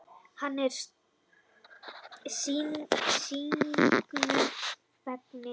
Hann er sýknunni feginn.